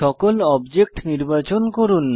সকল অবজেক্ট নির্বাচন করুন